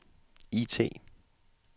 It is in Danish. IT